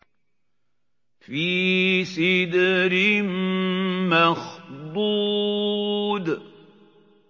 فِي سِدْرٍ مَّخْضُودٍ